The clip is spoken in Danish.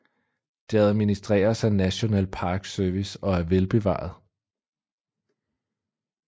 Det administreres af National Park Service og er velbevaret